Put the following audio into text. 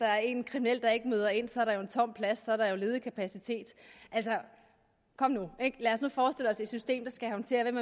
er en kriminel der ikke møder ind så er der jo en tom plads så er der ledig kapacitet altså kom nu lad os nu forestille os et system der skal håndtere hvem